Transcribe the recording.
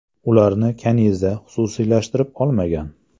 Ularni Kaniza xususiylashtirib olmagan.